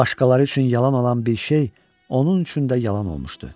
Başqaları üçün yalan olan bir şey onun üçün də yalan olmuşdu.